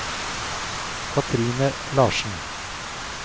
Kathrine Larsen